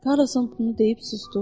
Karlson bunu deyib susdu.